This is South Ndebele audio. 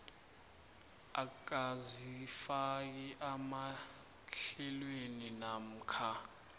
akazifaki emahlelweni namkha